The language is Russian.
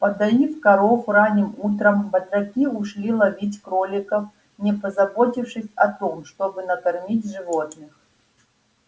подоив коров ранним утром батраки ушли ловить кроликов не позаботившись о том чтобы накормить животных